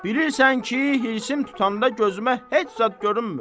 Bilirsən ki, hirsim tutanda gözümə heç zad görünmür.